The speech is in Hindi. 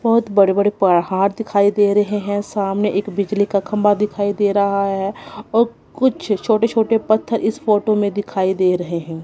बहोत बड़े बड़े पहाड़ दिखाई दे रहे हैं सामने एक बिजली का खंबा दिखाई दे रहा है और कुछ छोटे छोटे पत्थर इस फोटो में दिखाई दे रहे हैं।